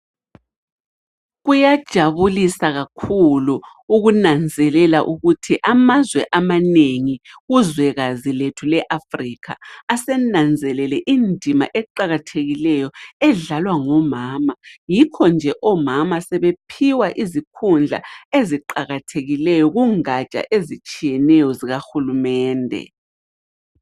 Kuyajabulisa kakhulu ukunanzelela ukuthi amazwe amanengi kuzwekazi lethu le eAfrica asenanzelele indima eqakathekileyo edlalwa ngomama, yikho nje omama sebephiwa izikhundla eziqakathekileyo kungaja ezitshiyeneyo zika hulumende.